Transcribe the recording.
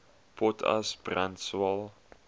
potas brand swael